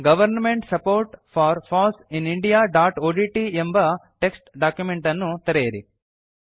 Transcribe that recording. government support for foss in indiaಒಡಿಟಿ ಎಂಬ text document ಅನ್ನು ತೆರೆಯಿರಿ